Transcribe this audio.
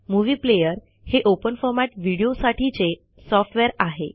movie player हे open format video साठीचे software आहे